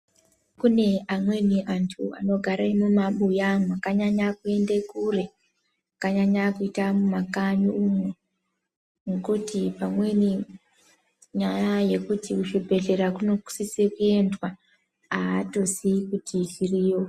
Kune amweni antu anogare mumabuya mwakanyanya kuende kure mwakanyanya kuita mumakanyi umwu mwokuti pamweni nyaya yokuti kuchibhedhlera kunosiswe kuenda atozivi kuti zviriyo.